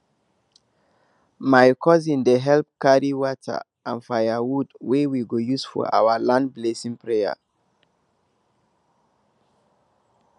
my cousins dey help carry water and and firewood wey we go use for our land blessing prayer